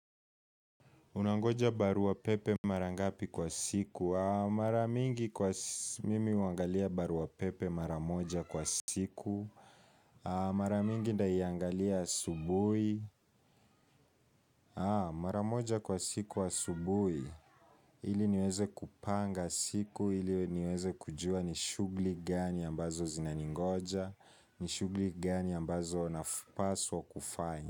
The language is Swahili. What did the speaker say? Unangoja barua pepe mara ngapi kwa siku? Mara mingi kwa mimi huangalia barua pepe mara moja kwa siku. Mara mingi nitaiangalia asubuhi. Mara moja kwa siku asubuhi ili niweze kupanga siku, ili niweze kujua ni shughuli gani ambazo zinaningoja, ni shughuli gani ambazo napaswa kufanya.